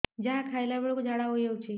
ଯାହା ଖାଇଲା ବେଳକୁ ଝାଡ଼ା ହୋଇ ଯାଉଛି